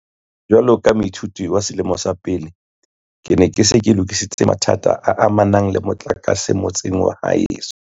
Jwalo ka moithuti wa selemo sa pele, ke ne ke se ke lokisa mathata a amanang le motlakase motseng wa heso.